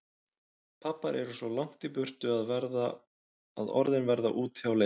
Pabbar eru svo langt í burtu að orðin verða úti á leiðinni.